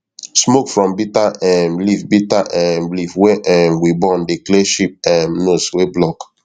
smoke from bitter um leaf bitter um leaf wey um we burn dey clear sheep um nose wey block